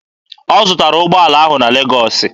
Ọ zụtara ụgbọala ahụ na Legọọsị.